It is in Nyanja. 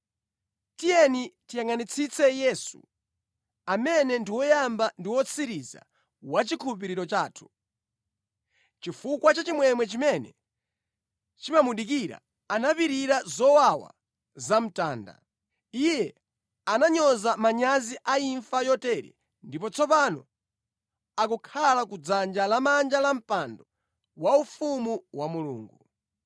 Tiyeni tiyangʼanitsitse Yesu, amene ndi woyamba ndi wotsiriza wa chikhulupiriro chathu. Chifukwa cha chimwemwe chimene chimamudikira anapirira zowawa zapamtanda. Iye ananyoza manyazi a imfa yotere ndipo tsopano akukhala ku dzanja lamanja la mpando waufumu wa Mulungu.